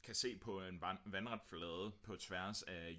kan se på en vandret flade på tværs af